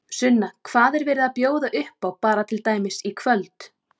Sunna, hvað er verið að bjóða upp á bara til dæmis í kvöld?